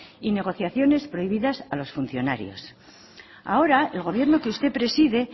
y negociaciones prohibidas a los funcionarios ahora el gobierno que usted preside